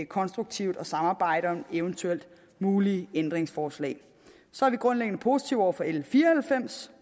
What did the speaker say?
konstruktivt at samarbejde om eventuelt mulige ændringsforslag så er vi grundlæggende positive over for l fire og halvfems